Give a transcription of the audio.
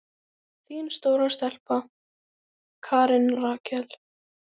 Þín stóra stelpa, Karen Rakel.